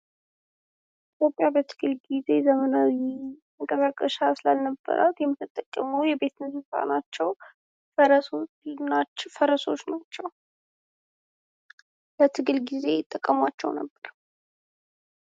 ኢትዮጵያ በትግል ጊዜ ዘመናዊ መንቀሳቀሻ ስላልነበራት የምትጠቀመው የቤት እንስሳ ናቸው። ፈረሶች ናቸው። ለትግል ጊዜ ይጠቀሟቸው ነበር ።